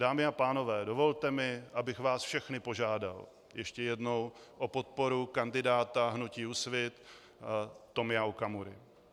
Dámy a pánové, dovolte mi, abych vás všechny požádal ještě jednou o podporu kandidáta hnutí Úsvit Tomia Okamury.